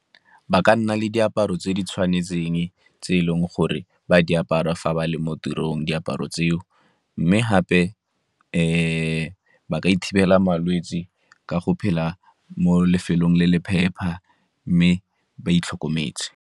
Ba ka nna le diaparo tse di tshwanetseng tse e leng gore ba di apara fa ba le mo tirong diaparo tseo, mme gape ba ka malwetse ka go phela mo lefelong le le phepa mme ba itlhokometse.